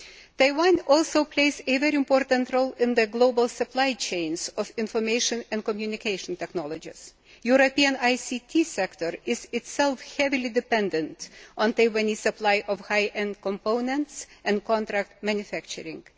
Taiwan also plays a very important role in the global supply chains of information and communication technologies. The European ICT sector is itself heavily dependent on the Taiwanese supply of high end components and contract manufacturing.